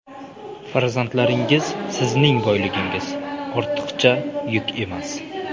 Farzandlaringiz sizning boyligingiz, ortiqcha yuk emas!